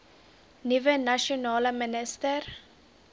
nuwe nasionale minister